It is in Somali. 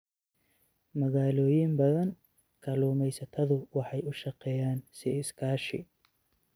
Magaalooyin badan, kalluumaysatadu waxay u shaqeeyaan si iskaashi.